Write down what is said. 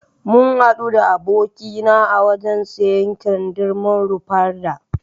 Mun hadu da abokin na a wajan siyar kindirmon Rufarda